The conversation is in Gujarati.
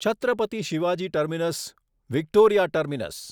Chhatrapati Shivaji terminus Victoria terminus